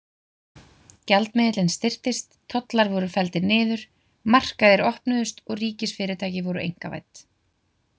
Gjaldmiðillinn styrktist, tollar voru felldir niður, markaðir opnuðust og ríkisfyrirtæki voru einkavædd.